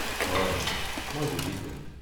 হয়, মই বুজিছোঁ।